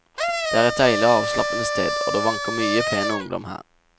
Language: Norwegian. Det er et deilig og avslappende sted, og det vanker mye pen ungdom her.